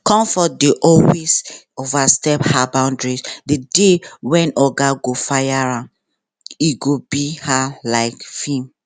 comfort dey always overstep her boundary the day when oga go fire am e go be her like film